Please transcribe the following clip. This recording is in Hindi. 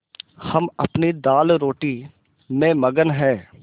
हम अपनी दालरोटी में मगन हैं